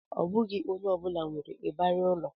Ọ bụghị onye ọ bụla nwere ịbarị ụlọ